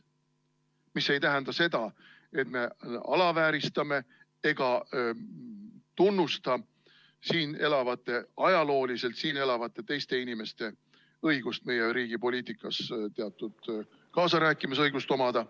See ei tähenda seda, et me alavääristame ega tunnusta siin elavate, ajalooliselt siin elavate teiste inimeste õigust meie riigi poliitikas teatud kaasarääkimisõigust omada.